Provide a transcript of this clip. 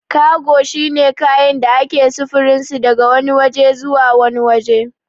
Kago shine kayan da ake sufurinsu daga wani waje zuwa wani waje